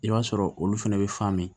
I b'a sɔrɔ olu fɛnɛ bɛ faamu